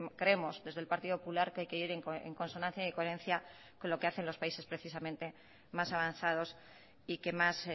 creemos desde el partido popular que hay que ir en consonancia y coherencia con lo que hacen los países precisamente más avanzados y que más